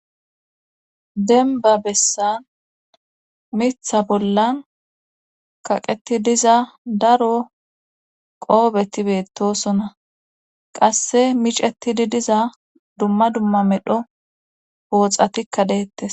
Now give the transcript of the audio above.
denba bessan mitha bollan kaqeti diza daro qoobeti beettosona qasse micetidi diza dumma dumma medho pooxatikka deettes